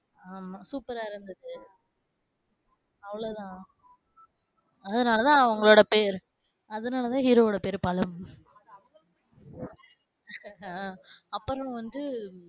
ஆமா சூப்பரா இருந்துச்சு. அவளோதான் அதுனாலதான் அவங்களோட பெயர் அதுனால தான் ஹீரோ ஓட பெயர் பழம். ஆஹ் அப்பறம் வந்து,